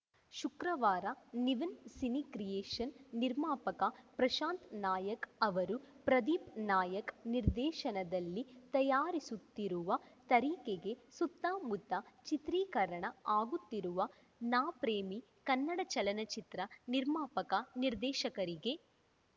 ಶುಕ್ರವಾರ Nivin cine creation ನಿರ್ಮಾಪಕ ಪ್ರಶಾಂತ್‌ ನಾಯಕ್‌ ಅವರು ಪ್ರದೀಪ್‌ ನಾಯಕ್‌ ನಿರ್ದೇಶನದಲ್ಲಿ ತಯಾರಿಸುತ್ತಿರುವ ತರೀಕೆಗೆ ಸುತ್ತಮುತ್ತ ಚಿತ್ರೀಕರಣ ಆಗುತ್ತಿರುವ ನಾ ಪ್ರೇಮಿ ಕನ್ನಡ ಚಲನಚಿತ್ರ ನಿರ್ಮಾಪಕ ನಿರ್ದೇಶಕರಿಗೆ